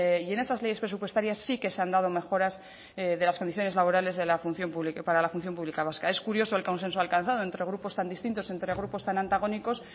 y en esas leyes presupuestaria sí que se han dado mejoras de las condiciones laborales para la función pública vasca es curioso el consenso alcanzado entre grupos tan distintos entre grupos tan antagónicos